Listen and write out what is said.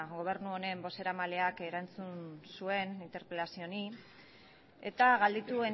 gobernu honen bozeramaileak erantzun zuen interpelazio honi eta galdetu